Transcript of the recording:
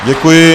Děkuji.